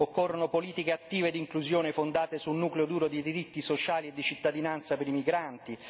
occorrono politiche attive d'inclusione fondate sul nucleo duro dei diritti sociali di cittadinanza per i migranti